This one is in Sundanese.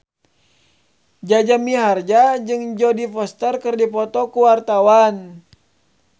Jaja Mihardja jeung Jodie Foster keur dipoto ku wartawan